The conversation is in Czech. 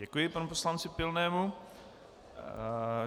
Děkuji panu poslanci Pilnému.